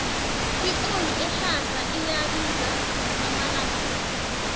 ioli ehlaza iyabiza amalanga la